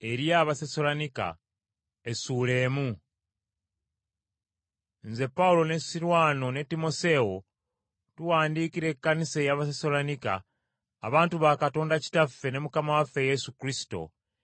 Nze Pawulo ne Sirwano ne Timoseewo tuwandiikira Ekkanisa ey’Abasessaloniika, abantu ba Katonda Kitaffe ne Mukama waffe Yesu Kristo,